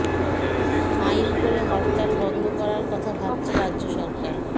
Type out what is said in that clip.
আইন করে হরতাল বন্ধ করার কথা ভাবছে রাজ্য সরকার